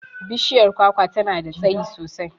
Bishiyar kwakwa tana da tsayi sosai.